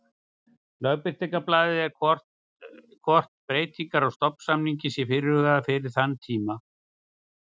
Lögbirtingablaði eða hvort breytingar á stofnsamningi séu fyrirhugaðar fyrir þann tíma.